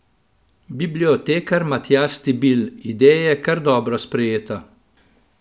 Bibliotekar Matjaž Stibilj: 'Ideja je kar dobro sprejeta.